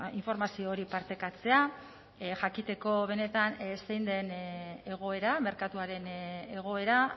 informazio hori partekatzea jakiteko benetan zein den egoera merkatuaren egoera